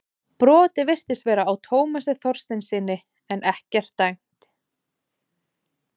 Brotið virtist vera á Tómasi Þorsteinssyni en ekkert dæmt.